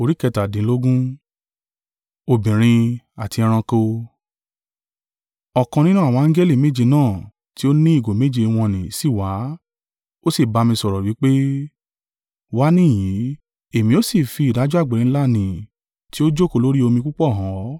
Ọ̀kan nínú àwọn angẹli méje náà tí ó ní ìgò méje wọ̀n-ọn-nì sì wá, ó sì ba mi sọ̀rọ̀ wí pé, “Wá níhìn-ín; èmi ó sì fi ìdájọ́ àgbèrè ńlá ní tí ó jókòó lórí omi púpọ̀ han ọ,